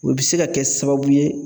O bɛ se ka kɛ sababu ye